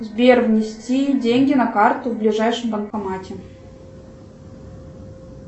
сбер внести деньги на карту в ближайшем банкомате